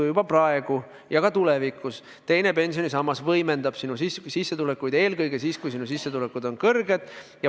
Juba praegu ja ka tulevikus teine pensionisammas võimendab sinu sissetulekuid eelkõige siis, kui sinu sissetulekud on kõrged.